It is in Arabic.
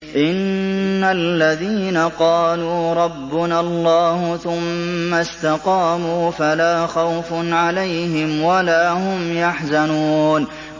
إِنَّ الَّذِينَ قَالُوا رَبُّنَا اللَّهُ ثُمَّ اسْتَقَامُوا فَلَا خَوْفٌ عَلَيْهِمْ وَلَا هُمْ يَحْزَنُونَ